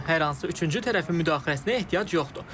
Hər hansı üçüncü tərəfin müdaxiləsinə ehtiyac yoxdur.